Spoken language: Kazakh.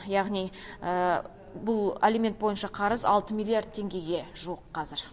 яғни бұл алимент бойынша қарыз алты миллиард теңгеге жуық қазір